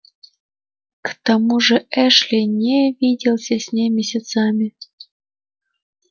к тому же эшли не виделся с ней месяцами